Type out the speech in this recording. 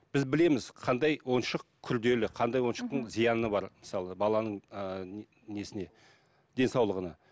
біз білеміз қандай ойыншық күрделі қандай ойыншықтың зияны бар мысалы баланың ыыы несіне денсаулығына